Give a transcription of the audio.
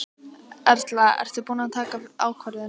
Erla: Og ertu búin að taka ákvörðun?